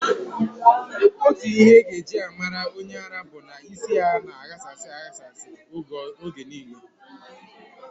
Otu ihe ị ga-eji mara onye ara bụ na isi ya na-aghasa aghasa oge niile.